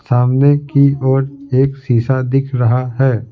सामने की ओर एक शीशा दिख रहा है ।